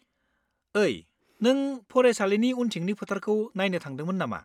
ओइ, नों फरायसालिनि उनथिंनि फोथारखौ नायनो थांदोंमोन नामा?